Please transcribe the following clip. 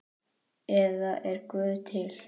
eða Er Guð til?